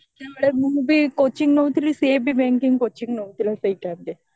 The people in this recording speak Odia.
ହଁ ସେତେବେଳେ ମୁଁ ବି coaching ନଉଥିଲି ସିଏ ବି banking coaching ନଉଥିଲା ସେଇ time ରେ